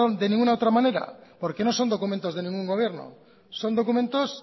de ninguna otra manera porque no son documentos de ningún gobierno son documentos